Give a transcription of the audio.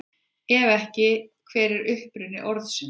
Ef ekki, hver er uppruni orðsins?